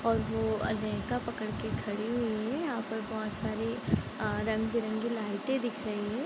और वो लहंगा पकड़ के खड़ी हुई हैं और यहाँ पर बहोत सारी अ रंग-बिरंगी लाइटें दिख रही हैं।